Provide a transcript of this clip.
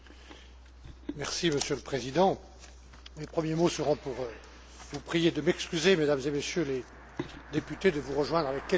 Monsieur le Président, mes premiers mots seront pour vous prier de m'excuser, Mesdames et Messieurs les députés, de vous rejoindre avec quelques minutes de retard.